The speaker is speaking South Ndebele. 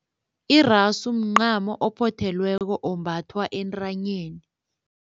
Irasu mncamo ophothelweko ombathwa entanyeni.